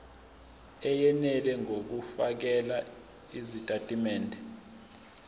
eyenele ngokufakela izitatimende